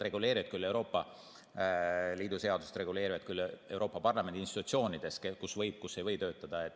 Euroopa Liidu seadused reguleerivad küll seda, kus Euroopa Parlamendi institutsioonides võib ja kus ei või töötada.